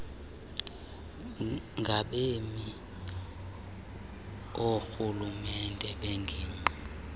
ngabemi oorhulumente bengingqi